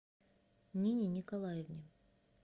нине николаевне